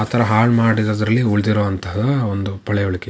ಆ ತರ ಹಾಳು ಮಾಡಿದ್ರೋದಲ್ಲಿ ಉಳಿದಿರೋ ಅಂತಹ ಒಂದ ಪಳೆಯುಳಿಕೆ .